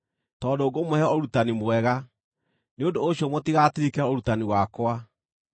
Tondũ ngũmũhe ũrutani mwega, nĩ ũndũ ũcio mũtigatirike ũrutani wakwa.